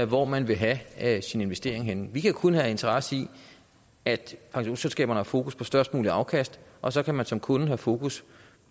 hvor man vil have sin investering henne vi kan kun have interesse i at pensionsselskaberne har fokus på størst muligt afkast og så kan man som kunde have fokus